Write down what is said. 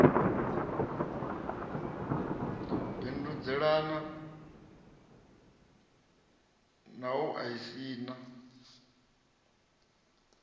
bindudzelana na u a isana